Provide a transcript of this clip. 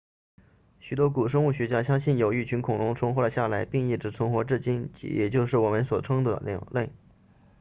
许多古生物学家相信有一群恐龙存活了下来并一直存活至今也就是我们所称的鸟类